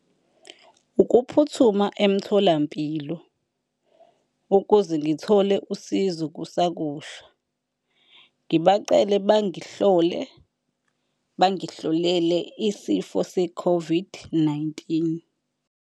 Ukuphuthuma emtholampilo ukuze ngithole usizo kusakusha ngibacele bangihlole, bangihlolele isifo se-COVID-19.